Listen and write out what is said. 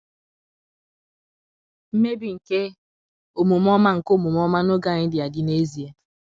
mmebi nke omume ọma nke omume ọma n’oge anyị dị adị n’ezie.